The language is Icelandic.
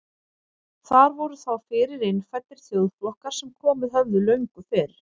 Þar voru þá fyrir innfæddir þjóðflokkar sem komið höfðu löngu fyrr.